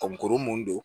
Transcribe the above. Ka kurun mun don